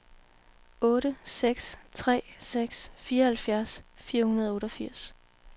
otte seks tre seks fireoghalvfjerds fire hundrede og otteogfirs